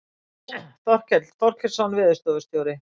Þorkell Þorkelsson veðurstofustjóri.